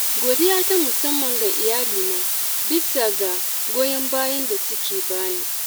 Godiya ta musamman ga Iyalina bisa goyon bayan da suke bani.